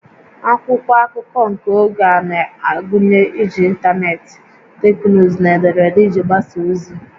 Akwụkwọ akụkọ nke oge a na-agụnye iji ịntanetị, teknụzụ na ederede iji gbasaa ozi